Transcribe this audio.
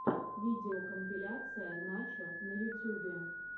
видеокомпиляция начо на ютюбе